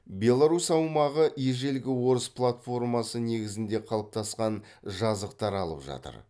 беларусь аумағы ежелгі орыс платформасы негізінде қалыптасқан жазықтар алып жатыр